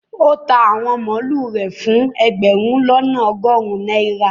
ó ta àwọn màlúù rẹ̀ fún ẹgbẹ̀rún lọ́nà ọgọrun náírà